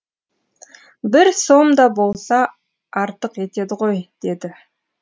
бір сом да болса артық етеді ғой деді